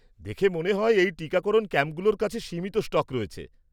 দেখে মনে হয় এই টিকাকরণ ক্যাম্পগুলোর কাছে সীমিত স্টক রয়েছে।